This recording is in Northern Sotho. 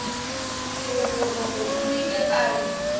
thogorogo o ile a re